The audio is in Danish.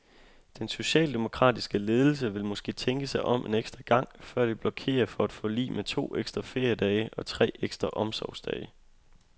Den socialdemokratiske ledelse vil måske tænke sig om en ekstra gang, før de blokerer for et forlig med to ekstra feriedage og tre ekstra omsorgsdage.